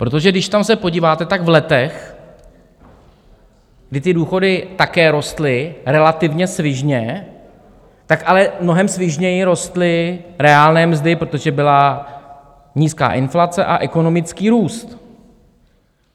Protože když tam se podíváte, tak v letech, kdy ty důchody také rostly relativně svižně, tak ale mnohem svižněji rostly reálné mzdy, protože byla nízká inflace a ekonomický růst.